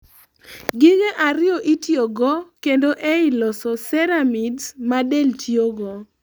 gige ariyo itiyogo kendo ei losos ceramides ma del tiyogo